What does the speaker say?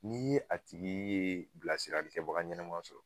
N'i ye a tigi ye bilasirali kɛbaga ɲɛnama sɔrɔ